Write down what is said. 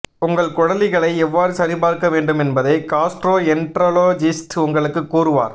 உங்கள் குடலிகளை எவ்வாறு சரிபார்க்க வேண்டும் என்பதை காஸ்ட்ரோஎண்டரோலஜிஸ்ட் உங்களுக்கு கூறுவார்